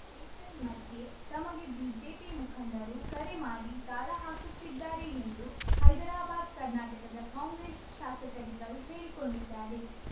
ಏತನ್ಮಧ್ಯೆ ತಮಗೆ ಬಿಜೆಪಿ ಮುಖಂಡರು ಕರೆ ಮಾಡಿ ಗಾಳ ಹಾಕುತ್ತಿದ್ದಾರೆ ಎಂದು ಹೈದರಾಬಾದ್‌ ಕರ್ನಾಟಕದ ಕಾಂಗ್ರೆಸ್‌ ಶಾಸಕರಿಬ್ಬರು ಹೇಳಿಕೊಂಡಿದ್ದಾರೆ